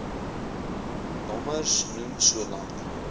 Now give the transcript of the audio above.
nommers noem solank